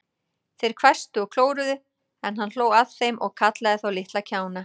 Þeir hvæstu og klóruðu, en hann hló að þeim og kallaði þá litla kjána.